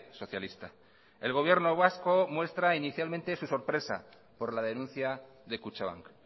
socialista el gobierno vasco muestra inicialmente su sorpresa por la denuncia de kutxabank